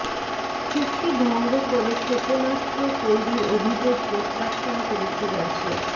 চুক্তি ভঙ্গ করে ক্ষেপনাস্ত্র তৈরির অভিযোগ প্রত্যাখ্যান করেছে রাশিয়া